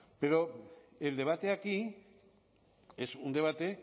pero el debate aquí es un debate